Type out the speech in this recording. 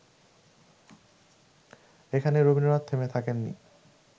এখানেই রবীন্দ্রনাথ থেমে থাকেননি